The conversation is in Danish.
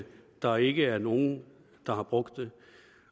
der ikke er nogen der har brugt det